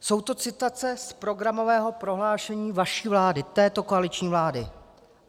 Jsou to citace z programového prohlášení vaší vlády, této koaliční vlády.